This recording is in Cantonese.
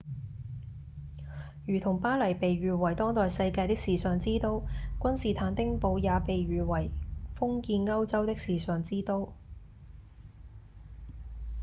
如同巴黎被譽為當代世界的時尚之都君士坦丁堡也被譽為封建歐洲的時尚之都